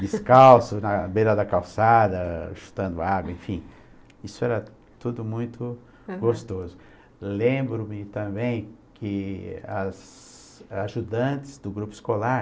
descalço na beira da calçada chutando água, enfim isso era tudo muito gostoso lembro-me também que as ajudantes do grupo escolar